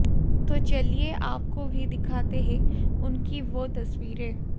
तो चलिए आपको भी दिखाते हैं उनकी वो तस्वीरें